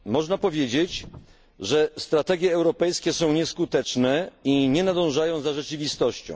Można powiedzieć, że strategie europejskie są nieskuteczne i nie nadążają za rzeczywistością.